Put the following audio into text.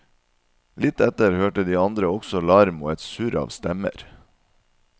Litt etter hørte de andre også larm og et surr av stemmer.